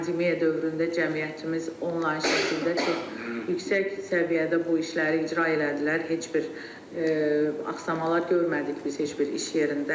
Pandemiya dövründə cəmiyyətimiz onlayn şəkildə çox yüksək səviyyədə bu işləri icra elədilər, heç bir axsama görmədik biz heç bir iş yerində.